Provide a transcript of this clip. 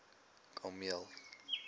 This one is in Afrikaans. kameel